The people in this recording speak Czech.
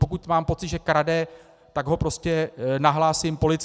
Pokud mám pocit, že krade, tak ho prostě nahlásím policii.